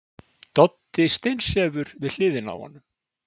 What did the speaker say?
Doddi steinsefur við hliðina á honum.